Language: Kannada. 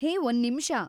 ಹೇ, ಒಂದ್‌ ನಿಮಿಷ.